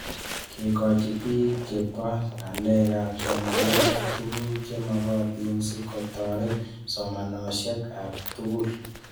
Kekoch pik che chope ng'alek ab somanet ak tuguk chemakatin sikotaret somanoshek ab tuggul